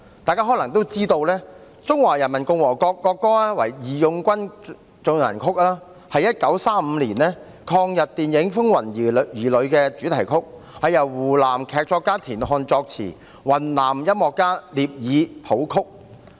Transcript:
大家可能也知道，中華人民共和國國歌為"義勇軍進行曲"，是1935年抗日電影"風雲兒女"的主題曲，是由湖南劇作家田漢作詞，雲南音樂家聶耳譜曲。